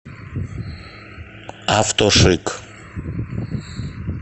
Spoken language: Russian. автошик